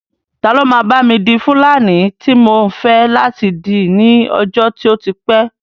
Ta ló máa bá mi di fúlàní tí mò ń fẹ́ láti dì ní ọjọ́ tó ti pẹ́